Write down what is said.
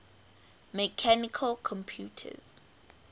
mechanical computers